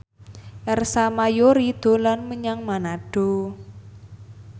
Ersa Mayori dolan menyang Manado